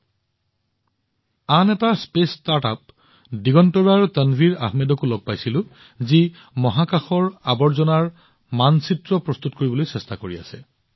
মই দিগন্তৰাৰ আন এক মহাকাশ ষ্টাৰ্টআপ তানভিৰ আহমেদকো লগ পাইছিলো যি মহাকাশৰ অপচয়ৰ চিনাক্ত কৰিবলৈ চেষ্টা কৰি আছে